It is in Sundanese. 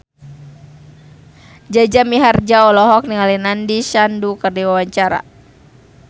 Jaja Mihardja olohok ningali Nandish Sandhu keur diwawancara